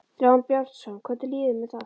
Þráinn Brjánsson: Hvernig líður þér með það?